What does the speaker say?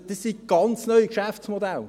Also das sind ganz neue Geschäftsmodelle.